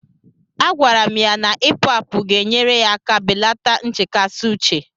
Agwara m ya na Ipu àpu ga-enyere aka belata nchekasị uche